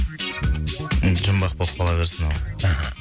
енді жұмбақ боп қала берсін ол мхм